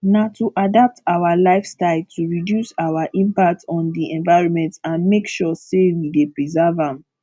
na to adapt our lifestye to reduce our impact on di environment and make sure say we dey preserve am